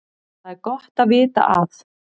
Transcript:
Það er gott að vita að